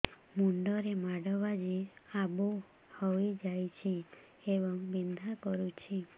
ମୁଣ୍ଡ ରେ ମାଡ ବାଜି ଆବୁ ହଇଯାଇଛି ଏବଂ ବିନ୍ଧା କରୁଛି